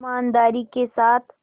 ईमानदारी के साथ